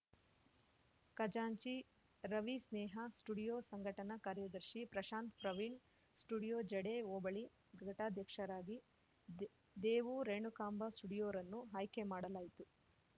ಖಜಾಂಚಿ ರವಿ ಸ್ನೇಹಾ ಸ್ಟುಡಿಯೋ ಸಂಘಟನಾ ಕಾರ್ಯದರ್ಶಿ ಪ್ರಶಾಂತ್‌ ಪ್ರವೀಣ್‌ ಸ್ಟುಡಿಯೋ ಜಡೆ ಹೋಬಳಿ ಘಟಕಾಧ್ಯಕ್ಷರಾಗಿ ದೇ ದೇವು ರೇಣುಕಾಂಬ ಸ್ಟುಡಿಯೋರನ್ನು ಆಯ್ಕೆ ಮಾಡಲಾಯಿತು